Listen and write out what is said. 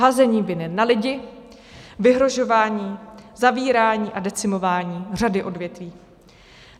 Házení viny na lidi, vyhrožování, zavírání a decimování řady odvětví.